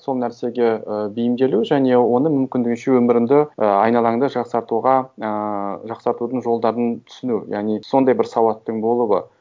сол нәрсеге і бейімделу және оны мүмкіндігіңше өміріңді і айналаңды жақсартуға ыыы жақсартудың жолдарын түсіну яғни сондай бір сауаттың болуы